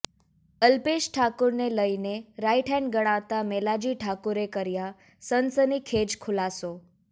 અલ્પેશ ઠાકોરને લઇને રાઈટહેન્ડ ગણાતા મેલાજી ઠાકોરે કર્યા સનસનીખેજ ખુલાસો